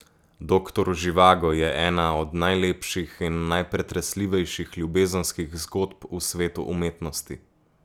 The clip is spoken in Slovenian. Doktor Živago je ena od najlepših in najpretresljivejših ljubezenskih zgodb v svetu umetnosti.